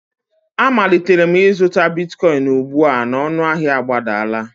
Amalitere m izụta bitkoịn ugbu a na ọnụahịa agbadala.